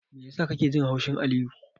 Me yasa kake jin haushin Aliyu?